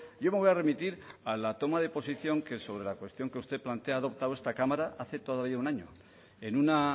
yo me voy a remitir a la toma de posición que sobre la cuestión que usted plantea ha adoptado esta cámara hace todavía un año en una